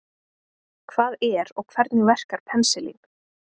Hvað er og hvernig verkar penisilín?